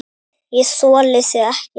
ÉG ÞOLI ÞIG EKKI!